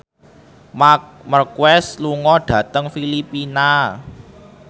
Marc Marquez lunga dhateng Filipina